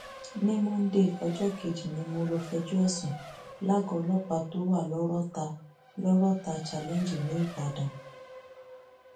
ní monde ọjọ kejì ni mo lọọ fẹjọ ẹ sùn lágọọ ọlọpàá tó wà lọrọta lọrọta challenge nìbàdàn